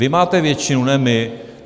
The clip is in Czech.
Vy máte většinu, ne my!